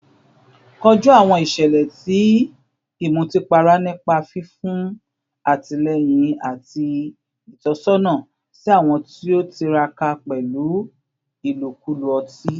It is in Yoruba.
Koju awọn iṣẹlẹ ti imutipara nipa fifun atilẹyin ati itọsọna si awọn ti o tiraka pẹlu ilokulo oti